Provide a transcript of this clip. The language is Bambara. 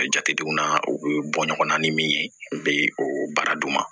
Jatedenw na u bɛ bɔ ɲɔgɔnna ni min ye u bɛ o baara d'u ma